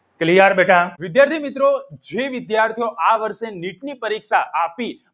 Clear બેટા વિદ્યાર્થી મિત્રો જે વિદ્યાર્થીઓ આ વર્ષે નીટની પરીક્ષા આપી